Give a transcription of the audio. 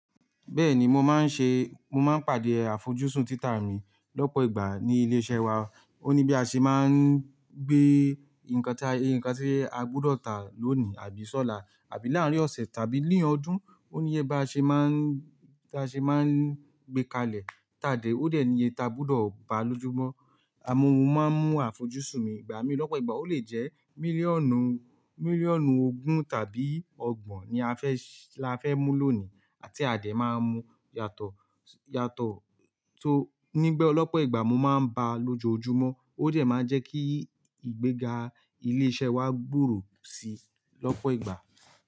Bẹ́ẹ̀ni mo máa ń ṣe, mo máa ń pàdé àfojúsùn títà mi lọ́pọ̀ ìgbà ní ilé iṣẹ́ wa. Ó ní bí a ṣe máa ń gbé ǹkan tí, ǹkan tí a gbọdọ̀ tà lónìí àbí ṣọ́la àbí láàárín ọ̀sẹ̀ tàbí lé ọdún. Ó ní yé bá ṣe máa ń, ta ṣe máa ń gbé kalẹ̀ tà dé, ó dẹ̀ ni iye ta gbudọ̀ pa lójúmọ́. Amu mú, máa ń mú àfojúsùn mi ìgbà mí lọ́pọ̀ ìgbà. Ó lè jẹ́ mílíọ̀nù, mílíọ̀nù ogún tàbí ọgbọ̀n ni a fẹ́ sì--, la fẹ́ mú lónìí àti àdẹ̀ máa mú yàtọ̀, yàtọ̀ tó nígbẹ́ olọ́pọ̀ ìgbà mo máa ń bá lójoojúmọ́. Ó dẹ̀ máa ń jẹ́ kí ìgbéga ilé iṣẹ́ wa gbòòrò síi lọ́pọ̀ ìgbà.